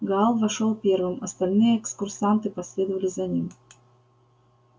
гаал вошёл первым остальные экскурсанты последовали за ним